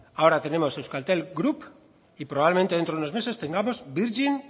ahora tenemos euskaltel group y probablemente dentro de unos meses tengamos virgin